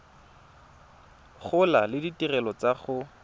gola le ditirelo tsa go